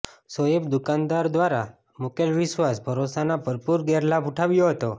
સોએબે દુકાનદાર દ્વારા મુકેલ વિશ્વાસ ભરોસાનો ભરપુર ગેરલાભ ઉઠાવ્યો હતો